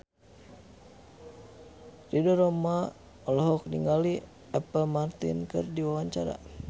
Ridho Roma olohok ningali Apple Martin keur diwawancara